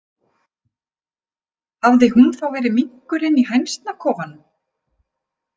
Hafði hún þá verið minkurinn í hænsnakofanum?